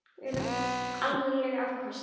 Þetta eru ekki amaleg afköst.